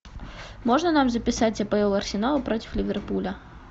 можно нам записать апл арсенал против ливерпуля